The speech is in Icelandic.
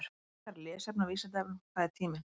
Frekara lesefni á Vísindavefnum: Hvað er tíminn?